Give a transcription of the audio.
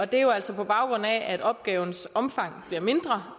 det er jo altså på baggrund af at opgavens omfang bliver mindre